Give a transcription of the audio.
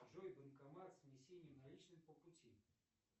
джой банкомат с внесением наличных по пути